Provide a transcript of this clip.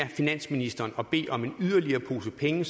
finansministeren og bede om yderligere en pose penge